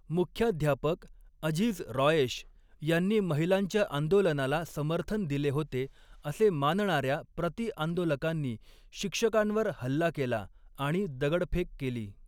मुख्याध्यापक अझीझ रॉयेश यांनी महिलांच्या आंदोलनाला समर्थन दिले होते असे मानणाऱ्या प्रतिआंदोलकांनी शिक्षकांवर हल्ला केला आणि दगडफेक केली.